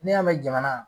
Ne y'a mɛn jamana